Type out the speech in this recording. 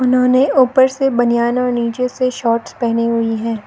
उन्होंने ऊपर से बनियान नीचे से शॉर्ट्स पहनी हुई है।